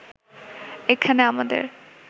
এখানে আমাদের